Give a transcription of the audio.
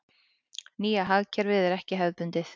Nýja hagkerfið er ekki hefðbundið.